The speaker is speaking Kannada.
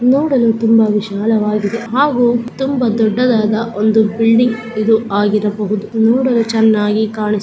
ನೋಡಲು ತುಂಬಾ ವಿಶಾಲವಾಗಿದೆ ಹಾಗು ತುಂಬಾ ದೊಡ್ಡದಾದ ಒಂದು ಬಿಲ್ಡಿಂಗ್ ಇದು ಆಗಿರಬಹುದು ನೋಡಲು ಚೆನ್ನಾಗಿ ಕಾಣಿಸು --